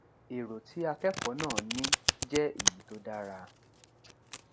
èrò tí akẹkọọ náà ní jẹ èyí tó dára